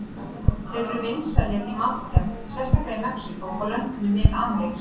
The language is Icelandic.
Þeir eru vinsælir í matargerð, sérstaklega í Mexíkó og löndum Mið-Ameríku.